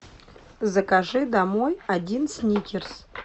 закажи домой один сникерс